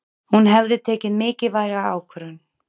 Hún hefði tekið mikilvæga ákvörðun.